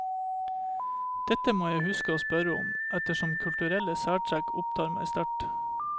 Dette må jeg huske å spørre om, ettersom kulturelle særtrekk opptar meg sterkt.